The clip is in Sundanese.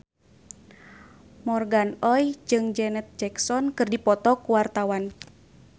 Morgan Oey jeung Janet Jackson keur dipoto ku wartawan